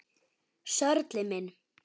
Sörli minn!